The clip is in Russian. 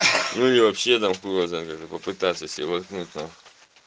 ну и вообще там хуй его знает как-то попытаться с ним воткнуть нахуй